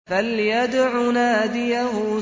فَلْيَدْعُ نَادِيَهُ